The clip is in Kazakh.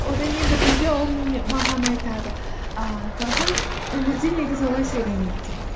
одан кейін бір кезде ол маған айтады ііі талшын өмірде негізі олай сөйлемейді деп